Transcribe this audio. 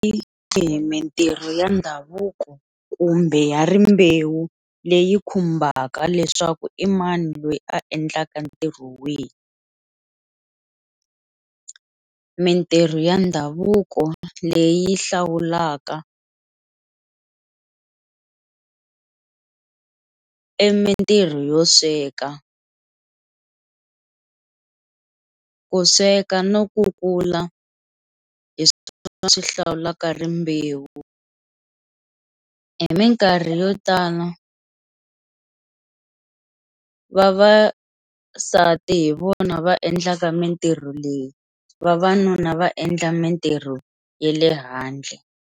Hi mitirho ya ndhavuko kumbe ya rimbewu leyi khumbaka leswaku i mani loyi a endlaka ntirho wihi, mitirho ya ndhavuko leyi hlawulaka i mintirho yo sweka, ku sweka no kukula hi swona swi hlawulaka rimbewu hi mikarhi yo tala vavasati hi vona va endlaka mitirho leyi vavanuna va endla mitirho ya le handle.